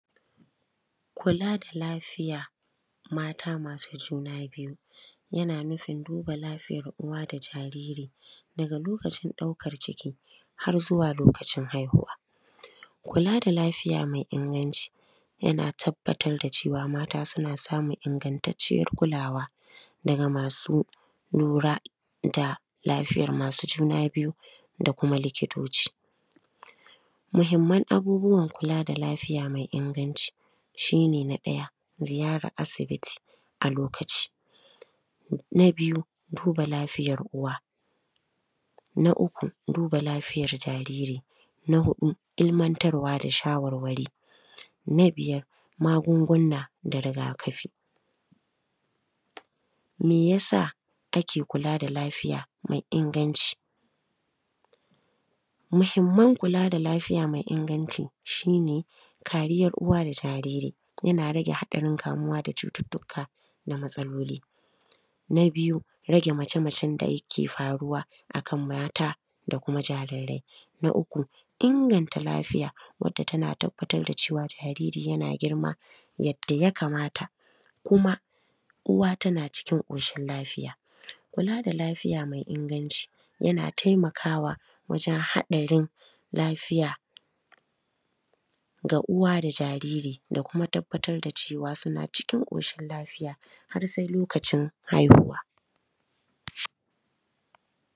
Kula da lafiya mata masu juna biyu, yana nufin duba lafiyar uwa da jariri daga lokacin daukar ciki har zuwa lokacin haihuwa, kula da lafiya mai inganci yana tabbatar da cewa mata suna samun ingantaciyar kulawa daga masu lura da lafiyar masu juna biyu da kuma likitoci, muhimman abubuwan kula da lafiya mai inganci, shi ne na ɗaya ziyarar asibiti a lokaci na biyu duba lafiyar uwa na uku duba lafiyar jariri na hudu ilmantarwa da shawarwari na biyar magunguna da rigakafi me yasa ake kula da lafiya mai inganci, muhimman kula da lafiya mai inganci shi ne kariyar uwa da jariri yana rage hatsarin kamuwa da cututtuka na matsaloli, na biyu rage mace-macen da yake faruwa akan mata da kuma jarirai, na uku inganta lafiya wanda tana tabbatar da cewa jariri yana girma yadda ya kamata, kuma uwa tana cikin koshin lafiya kula da lafiya mai inganci yana taimakawa waje hatsarin lafiya ga uwa da jariri da kuma tabbatar da cewa suna cikin koshin lafiya, har sai lokacin haihuwa.